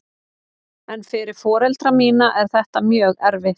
En fyrir foreldra mína er þetta mjög erfitt.